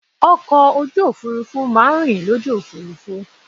Ọkọ̀ ojú òfurufú má a ń rìn lójú òfurufú